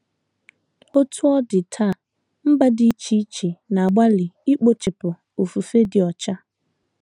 Otú ọ dị, taa, mba dị iche iche na - agbalị ikpochapụ ofufe dị ọcha.